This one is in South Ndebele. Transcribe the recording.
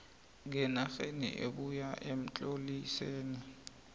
ngenarheni ebuya emtlolisini